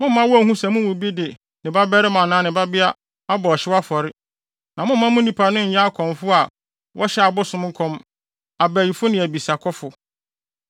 Mommma wonhu sɛ mo mu bi de ne babarima anaa ne babea abɔ ɔhyew afɔre. Na mommma mo nnipa no nyɛ akɔmfo a wɔhyɛ abosom nkɔm, abayifo ne abisakɔfo, ne ntafowayifo